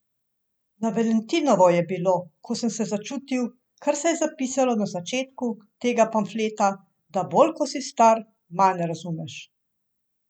Na valentinovo je bilo, ko sem se začutil, kar se je zapisalo na začetku tegale pamfleta, da bolj ko si star, manj razumeš.